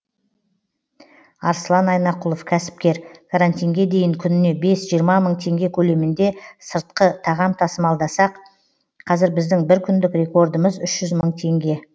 арслан айнақұлов кәсіпкер карантинге дейін күніне бес жиырма мың теңге көлемінде сыртқы тағам тасымалдасақ қазір біздің бір күндік рекордымыз үш жүз мың теңге